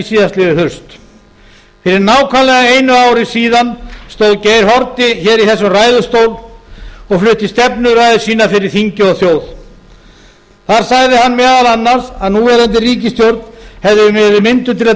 síðastliðið haust fyrir nákvæmlega einu ári síðan stóð geir haarde hér í þessum ræðustól og flutti stefnuræðu sína fyrir þingi og þjóð þar sagði hann meðal annars að núverandi ríkisstjórn hefði verið mynduð til að